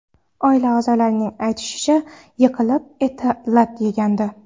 Oila a’zolarining aytishicha, yiqilib eti lat yegandi .